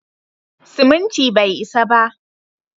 Siminti bai isa ba.